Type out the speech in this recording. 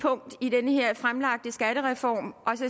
punkt i den her fremlagte skattereform og